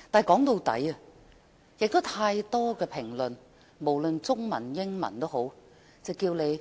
說到底，很多中文及英文評論皆表示